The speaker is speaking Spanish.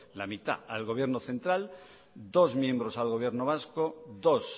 la mitad al gobierno central dos miembrosal gobierno vasco dos